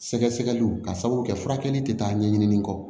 Sɛgɛsɛgɛliw ka sababu kɛ furakɛli tɛ taa ɲɛɲini kɔ